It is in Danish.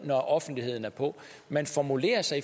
når offentligheden er på man formulerer sig